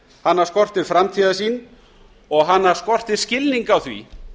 hana skortir framtíðarsýn og hana skortir skilning á því